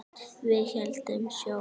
Við héldum sjó.